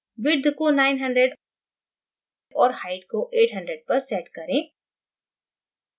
width को 900 और height को 800 पर set करें